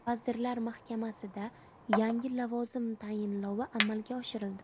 Vazirlar Mahkamasida yangi lavozim tayinlovi amalga oshirildi.